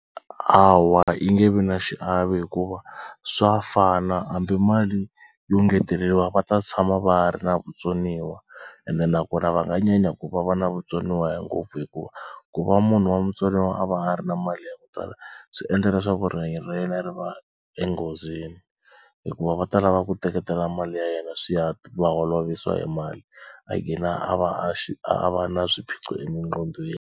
Hawa yi nge vi na xiave hikuva swa fana hambi mali yo ngeteleriwa va ta tshama va ri na vutsoniwa ende nakona va nga nyanya ku va va na vutsoniwa ngopfu hikuva ku va munhu wa mutsoniwa a va a ri na mali ya ku tala swi endla leswaku rihanyo ra yena ri va enghozini hikuva va ta lava ku teketela mali ya yena swi ya ti va holovisa hi mali a gina a va a xi a va na swiphiqo .